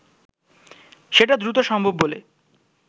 সেটা দ্রুত সম্ভব বলে